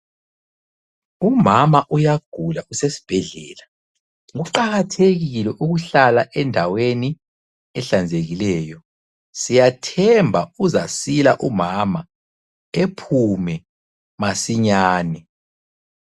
Umama uyagula usesibhedlela. Kuqakathekile ukuhlala endaweni, ehlanzekileyo. Siyathemba uzasila umama ephume masinyane.